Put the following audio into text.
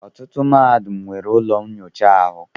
Ọtụtụ Mahadum nwere ụlọ nnyocha ahụ.